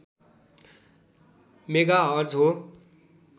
megahertz हो